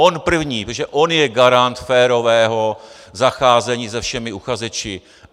On první, protože on je garant férového zacházení se všemi uchazeči.